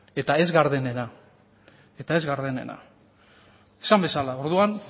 eta ez gardenena eta ez gardenena esan bezala orduan